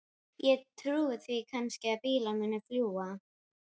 Ég trúi því kannski að bílar muni fljúga.